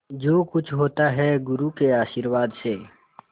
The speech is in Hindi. जो कुछ होता है गुरु के आशीर्वाद से